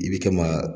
I bi kan ga